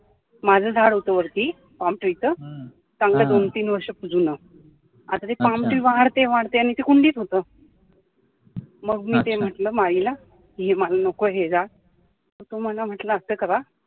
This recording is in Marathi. माझं झाड होतं वरती palm tree चं चांगलं दोन तीन वर्ष जुनं आता ते palm tree वाढते वाढते आणि ते कुंडीत होतं याचा मग मी ते म्हटलं मळीला कि मला नको आहे हे झाड, तर तो मला म्हटलं असं करा